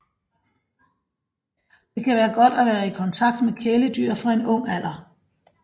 Det kan være godt at være i kontakt med kæledyr fra en ung alder